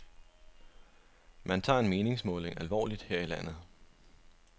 Man tager en meningsmåling alvorligt her i firmaet.